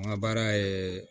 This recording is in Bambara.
An ka baara ye